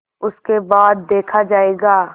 उसके बाद देखा जायगा